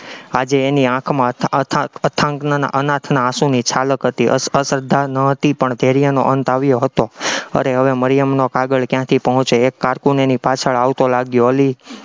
આજે એની આંખમાં અથાગ, અનાથના આંસુની છાલક હતી, અશ્રદ્ધા ન હતી પણ ધૈર્યનો અંત આવ્યો હતો, અરે હવે મરિયમનો કાગળ ક્યાંથી પહોંચે, એક cocoon એની પાછળ આવતો લાગ્યો, અલી